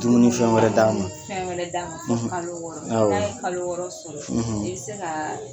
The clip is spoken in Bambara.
Dumuni fɛn wɛrɛ d'a ma dumuni fɛn wɛrɛ d'a ma fɔ kalo wɔɔrɔ n'a ye kalo wɔɔrɔ sɔrɔ i bɛ se kaa